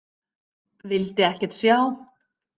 Vildi ekkert sjá.